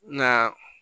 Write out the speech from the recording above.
Nka